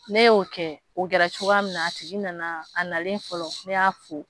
Ne y'o kɛ o kɛra cogoya min na a tigi nana a nalen fɔlɔ ne y'a fo